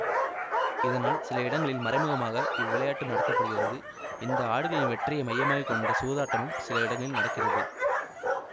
இதனால் சில இடங்களில் மறைமுகமாக இவ்விளையாட்டு நடத்த படுகிறது இந்த ஆடுகளின் வெற்றியை மையமாய் கொண்ட சூதாட்டமும் சில இடங்களில் நடக்கிறது